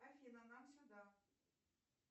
афина нам сюда